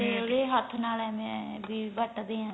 ਤੇ ਉਦੇ ਹੱਥ ਨਾਲ ਐਵੇ ਬੀ ਵੱਟਦੇ ਹੈਗੇ